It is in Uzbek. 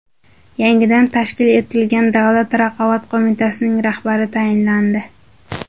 Yangidan tashkil etilgan Davlat raqobat qo‘mitasining rahbari tayinlandi.